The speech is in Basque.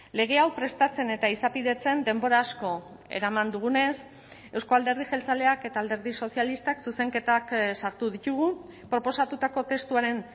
lege hau prestatzen eta izapidetzen denbora asko eraman dugunez euzko alderdi jeltzaleak eta alderdi sozialistak zuzenketak sartu ditugu proposatutako testuaren